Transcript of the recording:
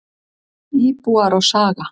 Íbúar og saga.